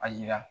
A yira